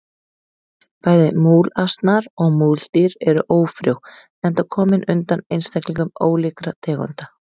Bæði múlasnar og múldýr eru ófrjó enda komin undan einstaklingum ólíkra tegunda.